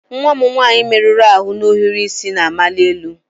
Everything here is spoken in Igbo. Nwa m nwanyị merụrụ ahụ na ohiri isi na-amali elu.